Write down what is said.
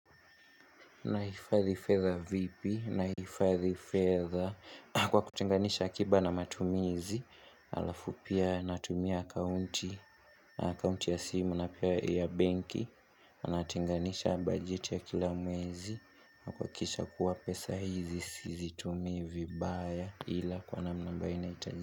Nahifadhi fedha vipi nahifadhi fedha kwa kutenganisha akiba na matumizi alafupia natumia akaunti na akaunti ya simu na pia ya benki na natenganisha bajeti ya kila mwezi na kuhakikisha kuwa pesa hizi sizitumii vibaya ila kwa namna ambayo inahitajika.